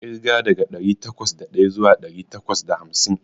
Ƙirga daga ɗari takwas da ɗaya zuwa ɗari takwas da hamsin.